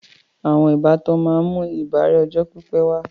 Àwọn ìbátan máa ń mú ìbárẹ́ ọjọ́ pípé wà